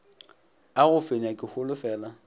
a go nyefa ke holofela